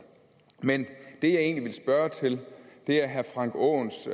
men det jeg egentlig ville spørge til er herre frank aaens